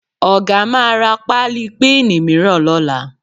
Ọ̀ga máa ra páálí píìnì mìíràn lọ́la